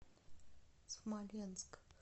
смоленск